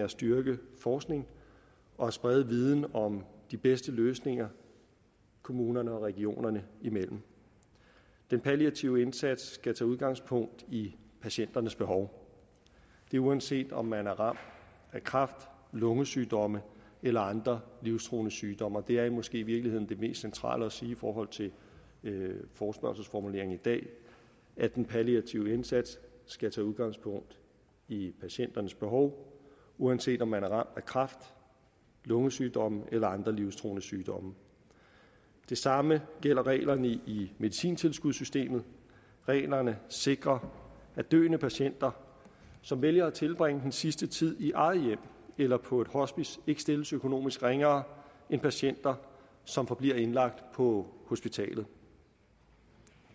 at styrke forskningen og sprede viden om de bedste løsninger kommunerne og regionerne imellem den palliative indsats skal tage udgangspunkt i patienternes behov det er uanset om man er ramt af kræft lungesygdomme eller andre livstruende sygdomme og det er måske i virkeligheden det mest centrale at sige i forhold til forespørgselsformuleringen i dag at den palliative indsats skal tage udgangspunkt i patienternes behov uanset om de er ramt af kræft lungesygdomme eller andre livstruende sygdomme det samme gælder reglerne i medicintilskudssystemet reglerne sikrer at døende patienter som vælger at tilbringe den sidste tid i eget hjem eller på et hospice ikke stilles økonomisk ringere end patienter som forbliver indlagt på hospitalet